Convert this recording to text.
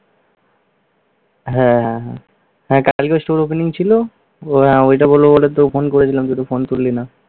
হ্যাঁ, হ্যাঁ। হ্যাঁ কালকে store opening ছিল ও আহ ওইটা বলব বলেতো ফোন করেছিলাম তোকে। তুই তো ফোন তুললি না।